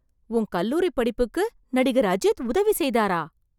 உன் கல்லூரிப் படிப்புக்கு நடிகர் அஜித் உதவி செய்தாரா...